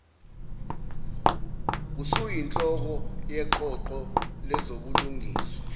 usuyinhloko yeqoqo lezobulungiswa